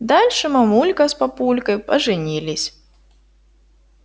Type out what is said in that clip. дальше мамулька с папулькой поженились